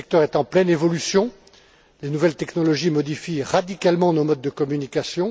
Ce secteur est en pleine évolution. Les nouvelles technologies modifient radicalement nos modes de communication.